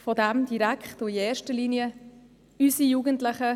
Von den Angeboten profitieren in erster Linie direkt unsere Jugendlichen.